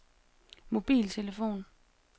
mobiltelefon